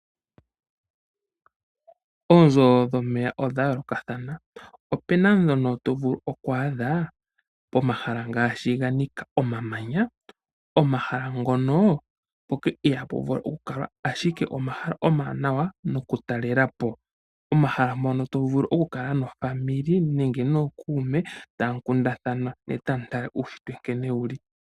Oonzo dhomeya odha yoolokathana , opena dhono to vulu oku adha pomahala ngaashi ga nika omamanya. Omahala ngono ihapu vulu oku kalwa ashike omahala omawanawa noku talelapo. Omahala mpono to vulu oku kala nofamili nenge nookuume tamu kundathana ne tamu tala uunshitwe nkene wuli.